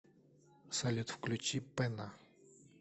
салют включи пэнна